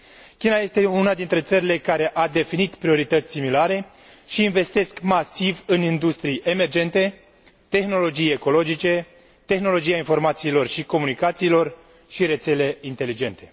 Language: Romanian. China este una dintre țările care a definit priorități similare și investesc masiv în industrii emergente, tehnologii ecologice, tehnologia informațiilor și comunicațiilor și rețele inteligente.